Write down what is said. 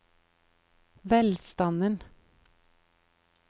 velstanden